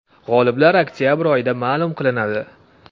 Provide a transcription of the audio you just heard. G‘oliblar oktabr oyida ma’lum qilinadi.